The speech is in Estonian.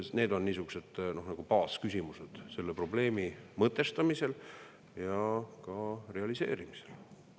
Need on niisugused baasküsimused selle probleemi mõtestamisel ja ka realiseerimisel.